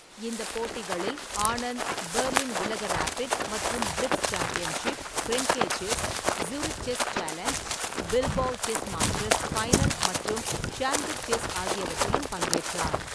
இந்த போட்டிகளில், ஆனந்த் பெர்லின் உலக ரேபிட் மற்றும் blitz championship, Grenke chess, Zurich chess challenge, Bilbao chess masters final மற்றும் ஷாம்கிர் செஸ் ஆகியவற்றிலும் பங்கேற்றார்.